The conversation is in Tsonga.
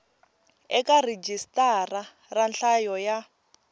eka rhijisitara ra nhlayo ya